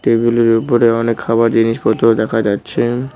টেবিলের উপরে অনেক খাবার জিনিসপত্র দেখা যাচ্ছে।